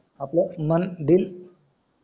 आपला मन